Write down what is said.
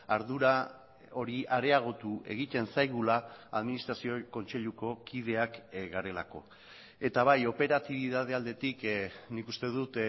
ardura hori areagotu egiten zaigula administrazio kontseiluko kideak garelako eta bai operatibitate aldetik nik uste dut